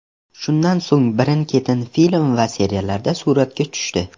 Shundan so‘ng birin-ketin film va seriallarda suratga tushdi.